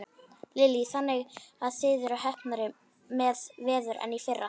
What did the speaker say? Lillý: Þannig að þið eruð heppnari með veður en í fyrra?